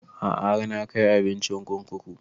A'a har na kai abincin kurkuku